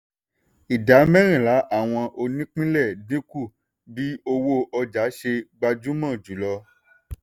ìdá mẹ́rìnlá àwọn onípínlẹ̀ dínkù bí owó ọjà ṣe gbajúmọ̀ jùlọ.